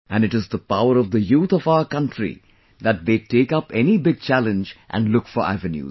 And it is the power of the youth of our country that they take up any big challenge and look for avenues